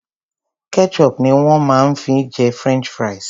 Ketchup ni wón ma fi ń jẹ french fries.